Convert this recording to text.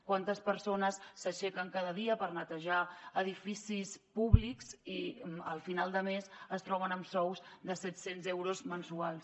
quantes persones s’aixequen cada dia per netejar edificis públics i al final de mes es troben amb sous de set cents euros mensuals